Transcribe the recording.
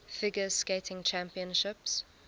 figure skating championships